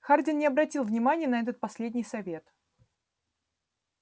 хардин не обратил внимания на этот последний совет